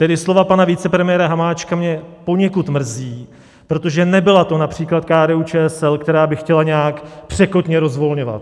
Tedy slova pana vicepremiéra Hamáčka, mě poněkud mrzí, protože nebyla to například KDU-ČSL, která by chtěla nějak překotně rozvolňovat.